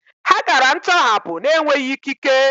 Ha gara ntọhapụ n'enweghị ikike.